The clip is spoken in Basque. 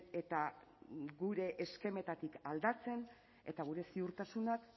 eta gure eskemetatik aldatzen eta gure ziurtasunak